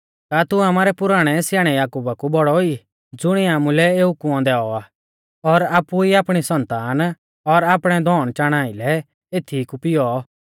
का तू आमारै पुराणै स्याणै याकुबा कु बौड़ौ ई ज़ुणिऐ आमुलै एऊ कुंऔ दैऔ आ और आपु ई आपणी सन्तान और आपणै धौणचाणा आइलै एथीई कु पिऔ